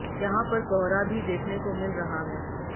यहां पर कोहरा भी देखने को मिल रहा है